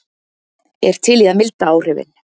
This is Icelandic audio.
Er til í að milda áhrifin